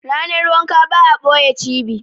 Ranar wanka ba a ɓoye cibi.